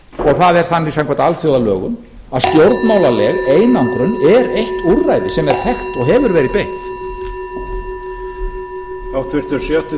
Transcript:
og það er þannig samkvæmt alþjóðalögum að stjórnmálaleg einangrun er eitt úrræði sem er þekkt og hefur verið beitt